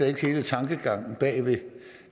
ikke hele tankegangen bag ved